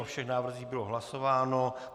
O všech návrzích bylo hlasováno.